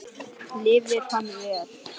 Lifði hann vel?